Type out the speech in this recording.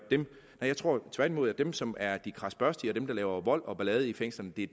jeg tror tværtimod at dem som er de krasbørstige og dem der laver vold og ballade i fængslerne er